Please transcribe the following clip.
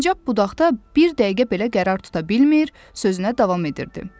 Sincab budaqda bir dəqiqə belə qərar tuta bilmir, sözünə davam edirdi.